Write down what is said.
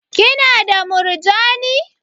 Ki na da murjani?